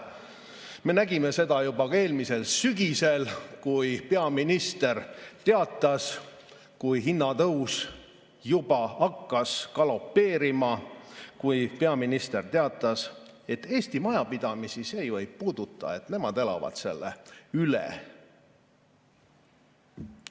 Me nägime seda juba eelmisel sügisel, kui hinnatõus juba hakkas galopeerima ja kui peaminister teatas, et Eesti majapidamisi see ei puuduta, nemad elavad selle üle.